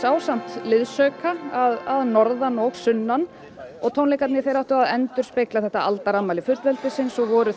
ásamt liðsauka að norðan og sunnan tónleikarnir endurspegluðu aldarafmæli fullveldisins og voru